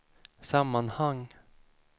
sammanhang